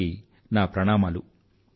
వారికి నా ప్రణామాలు